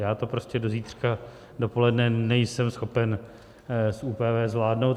Já to prostě do zítřka dopoledne nejsem schopen z ÚPV zvládnout.